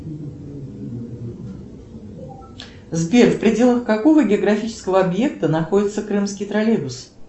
сбер в пределах какого географического объекта находится крымский троллейбус